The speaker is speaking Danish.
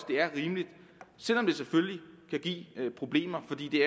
det er rimeligt selv om det selvfølgelig kan give problemer fordi det